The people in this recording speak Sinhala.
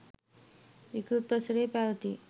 ඉකුත් වසරේ පැවැති